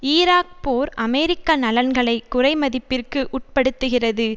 Iraq போர் அமெரிக்க நலன்களை குறைமதிப்பிற்கு உட்படுத்துகிறது